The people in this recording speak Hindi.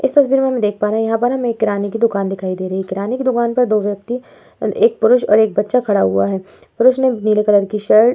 इस तस्वीर में हम देख पा रहे है यहाँ पर हमे एक किराने की दूकान दिखाई दे रही है किराने की दूकान पर दो व्यक्ति एक पुरुष और एक बच्चा खड़ा हुआ है पुरुष ने नीले कलर की शर्ट --